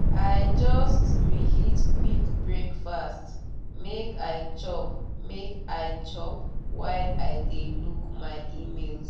i just reheat quick breakfast make i chop make i chop while i dey look my emails.